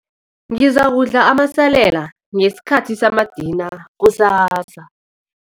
Ngizakudla amasalela ngesikhathi samadina kusasa.